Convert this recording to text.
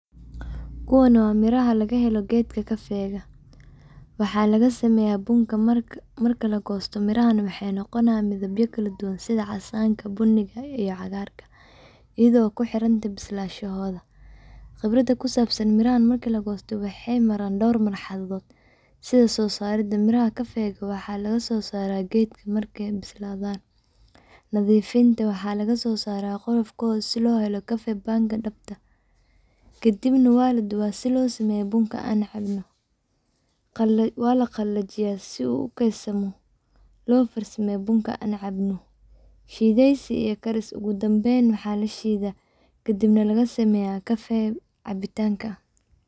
Kuwan waa miraha lagahela geedka kafeyga waxaa lagasameeya bunka marki lagosta mirahana waxay noqonayan midabya kala duban sida casanka buniga iyo cagaarka iyado ku xiranta bislanshahooda. Qibrada ku sabsan mirahan marki lagosta waxay maran dhowr marxaladood sida soosarida miraha kafeyga waxaa laga soosaara geedka markay bislaadan. Nadiifinta waxaa lagasosara qolofkooda si loo helo kafey banga dhabta. Kadibna waa laduba si loo sameeyo bunka aan cabno. Waa laqalajiya si uu keydsamo loo farsameyo bunka aan cabno. Shideysi iyo karis ogu dambayn waxaa lashiida kadibna lagasameeya kafey cabtinka.